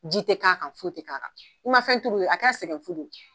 Ji tɛ k'a kan, foyi tɛ k'a kan, i ma fɛn tuuru ye a kɔrɔ sɛgɛn fuu.